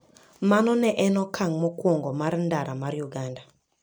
Mano ne en okang' mokwongo mar ndara ma Uganda.